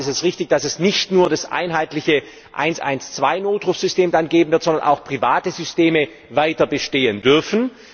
In der Tat ist es richtig, dass es dann nicht nur das einheitliche 112 Notrufsystem geben wird, sondern auch private Systeme weiter bestehen dürfen.